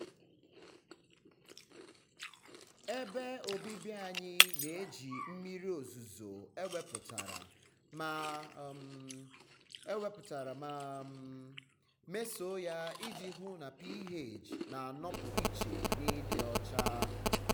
ebe obibi anyị na-eji mmiri ozuzo ewepụtara ma um ewepụtara ma um mesoo ya iji hụ na ph na-anọpụ iche na ịdị ọcha.